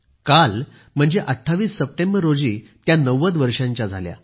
यावर्षी 28 सप्टेंबर रोजी त्या 90 वर्षांच्या झाल्या